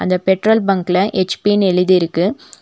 அந்த பெட்ரோல் பங்க்ல ஹெச்_பினு எழுதிருக்கு.